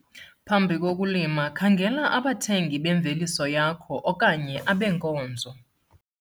Phambi kokulima khangela abathengi bemveliso yakho okanye abenkonzo.